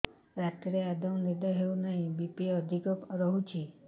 ରାତିରେ ଆଦୌ ନିଦ ହେଉ ନାହିଁ ବି.ପି ଅଧିକ ରହୁଛି